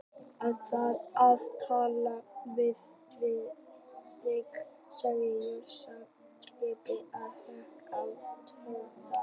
Ég þarf að tala við þig sagði Sonja skipandi og hékk á Tóta.